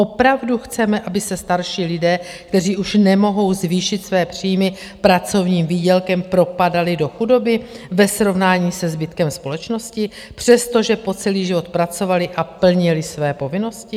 Opravdu chceme, aby se starší lidé, kteří už nemohou zvýšit své příjmy pracovním výdělkem, propadali do chudoby ve srovnání se zbytkem společnosti, přestože po celý život pracovali a plnili své povinnosti?